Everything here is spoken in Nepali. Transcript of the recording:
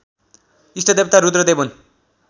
इष्टदेवता रुद्रदेव हुन्